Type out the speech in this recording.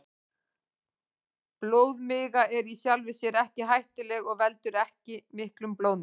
Blóðmiga er í sjálfu sér ekki hættuleg og veldur ekki miklum blóðmissi.